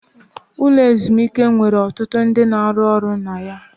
Ụlọ ezumike nwere ọtụtụ ndị ọrụ na-arụ ọrụ na ya.